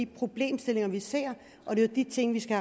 problemstillinger vi ser og det er jo de ting vi skal